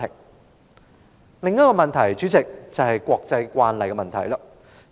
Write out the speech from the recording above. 代理主席，另一個問題是國際慣例。